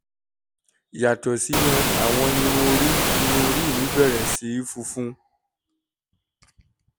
yàtọ̀ síyẹn àwọn irun orí irun orí mí bẹ̀rẹ̀ sí í funfun